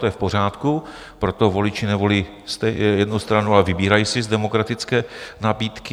To je v pořádku, proto voliči nevolí jednu stranu, ale vybírají si z demokratické nabídky.